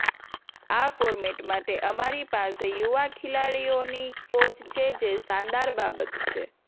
આ ફોર્મેટ માટે અમારી પાસે યુવા ખેલાડીઓની ફોજ છે જે શાનદાર બાબત છે